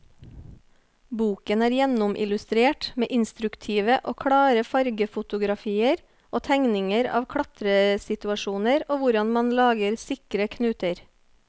Boken er gjennomillustrert med instruktive og klare fargefotografier og tegninger av klatresituasjoner og hvordan man lager sikre knuter.